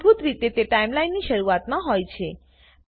મૂળભૂત રીતે તે ટાઈમલાઈનની શરૂઆતમાં હોય છે